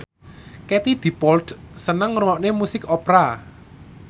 Katie Dippold seneng ngrungokne musik opera